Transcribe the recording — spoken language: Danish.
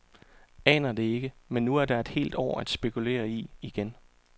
Aner det ikke, men nu er der et helt år at spekulere i igen.